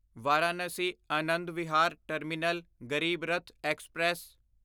Varanasi Anand Vihar Terminal Garib Rath express